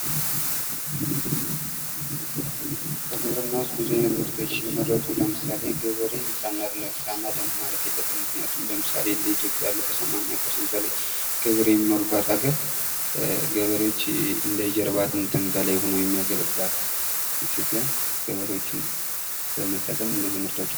"በግብርና ውስጥ ብዙ አይነት ምርቶች ሲመረቱ, ለምሳሌ፦ ገበሬን ሳናደንቅ ማለፍ የለብንም ምክንያቱም, ለምሳሌ፦ እንደ ኢትዮጵያ ያሉ ከሰማኒያ ፐርሰንት በላይ ገበሬ የሚኖርባት ሀገር ገበሬዎች እንደ ጀርባ አጥንትም በለይ ሆነው የሚያገለግሉዋት ኢትዮጵያ ገበሬዎች በመጠቀም ብዙ ምርቶች.."